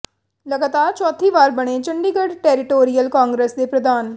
ਲਗਾਤਾਰ ਚੌਥੀ ਵਾਰ ਬਣੇ ਚੰਡੀਗੜ੍ਹ ਟੈਰੀਟੋਰੀਅਲ ਕਾਂਗਰਸ ਦੇ ਪ੍ਰਧਾਨ